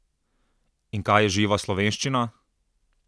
In kaj je živa slovenščina?